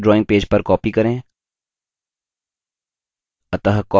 पेड़ को अपने मुख्य drawing पेज पर copy करें